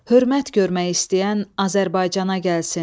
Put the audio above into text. Hörmət görmək istəyən Azərbaycana gəlsin.